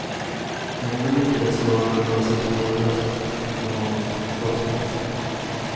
Ändå lyckades rånaren ta sig spårlöst från brottsplatsen.